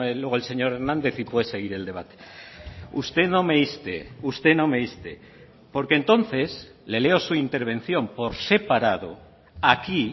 luego el señor hernández y puede seguir el debate usted no me inste usted no me inste porque entonces le leo su intervención por separado aquí